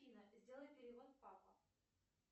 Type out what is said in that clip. афина сделай перевод папа